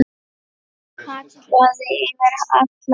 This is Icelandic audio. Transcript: Hann kallaði yfir alla.